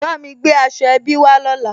Bámi gbé aṣọ ẹbí wá lọ́la